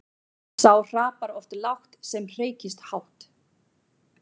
Sá hrapar oft lágt sem hreykist hátt.